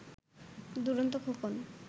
Duronto Khokon